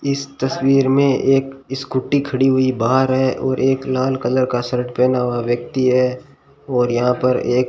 इस तस्वीर में एक स्कूटी खड़ी हुई बाहर है और एक लाल कलर का शर्ट पहना हुआ व्यक्ति है और यहां पर एक--